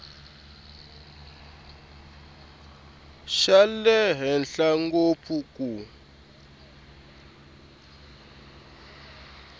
xa le henhla ngopfu ku